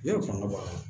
Ne kɔngɔ b'a la